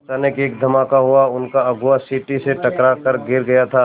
अचानक एक धमाका हुआ उनका अगुआ सीढ़ी से टकरा कर गिर गया था